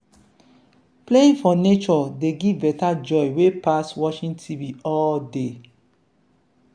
playing for nature dey give better joy wey pass watching tv all day.